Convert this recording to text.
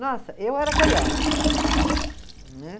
Nossa, eu era carioca. Né.